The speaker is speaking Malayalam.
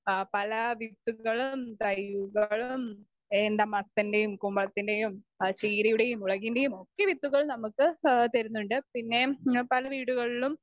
സ്പീക്കർ 2 ആഹ് പലവിത്തുകളും തൈയ്കളും എന്താ മത്തൻ്റെയും കുമ്പളത്തിൻ്റെയും ആഹ് ചീരയുടെയും മുളകിൻ്റെയുമൊക്കെ വിത്തുകൾ നമുക്ക് ഏഹ് തരുന്നുണ്ട്.പിന്നെ ഏഹ് പല വീടുകളിലും